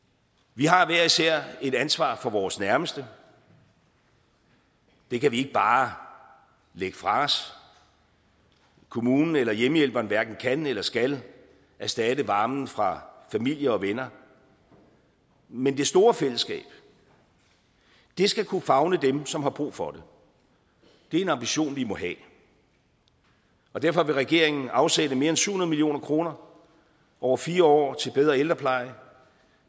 vi har hver især et ansvar for vores nærmeste det kan vi ikke bare lægge fra os kommunen eller hjemmehjælperen hverken kan eller skal erstatte varmen fra familie og venner men det store fællesskab skal kunne favne dem som har brug for det det er en ambition vi må have derfor vil regeringen afsætte mere end syv hundrede million kroner over fire år til bedre ældrepleje